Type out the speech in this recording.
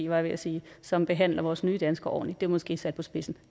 var jeg ved at sige som behandler vores nye danskere ordentligt det er måske sat på spidsen